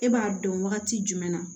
E b'a dɔn wagati jumɛn na